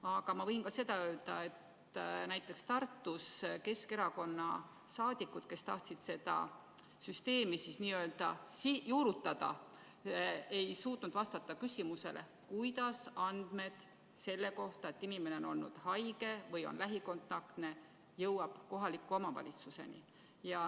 Aga ma võin öelda, et näiteks Tartus ei suutnud Keskerakonna saadikud, kes tahtsid seda süsteemi juurutada, vastata küsimusele, kuidas andmed selle kohta, et inimene on olnud haige või on lähikontaktne, jõuavad kohaliku omavalitsuseni.